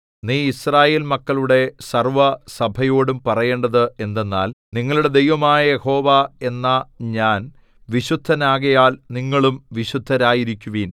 നീ യിസ്രായേൽ മക്കളുടെ സർവ്വസഭയോടും പറയേണ്ടത് എന്തെന്നാൽ നിങ്ങളുടെ ദൈവമായ യഹോവ എന്ന ഞാൻ വിശുദ്ധനാകയാൽ നിങ്ങളും വിശുദ്ധരായിരിക്കുവീൻ